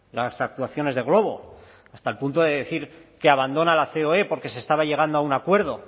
las actuaciones de glovo hasta el punto de decir que abandona la ceoe porque se estaba llegando a un acuerdo